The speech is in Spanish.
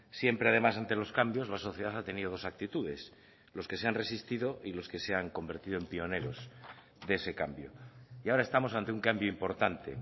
siempre además ante los cambios la sociedad ha tenido dos actitudes los que se han resistido y los que se han convertido en pioneros de ese cambio y ahora estamos ante un cambio importante